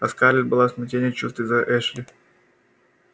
а скарлетт была в смятении чувств из-за эшли